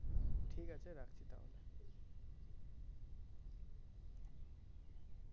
ঠিক আছে রাখছি তাহলে